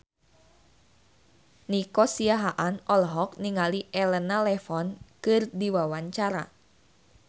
Nico Siahaan olohok ningali Elena Levon keur diwawancara